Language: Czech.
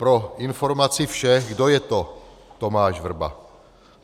Pro informaci všech - kdo je to Tomáš Vrba?